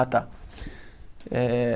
Ah, tá. Eh